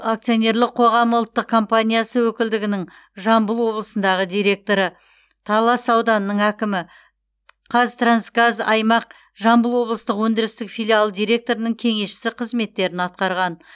акционерлік қоғамы ұлттық компаниясы өкілдігінің жамбыл облысындағы директоры талас ауданының әкімі қазтрансгаз аймақ жамбыл облыстық өндірістік филиалы директорының кеңесшісі қызметтерін атқарған